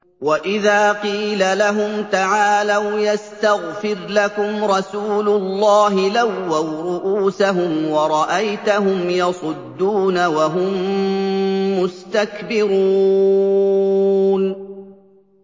وَإِذَا قِيلَ لَهُمْ تَعَالَوْا يَسْتَغْفِرْ لَكُمْ رَسُولُ اللَّهِ لَوَّوْا رُءُوسَهُمْ وَرَأَيْتَهُمْ يَصُدُّونَ وَهُم مُّسْتَكْبِرُونَ